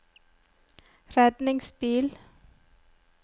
redningsbil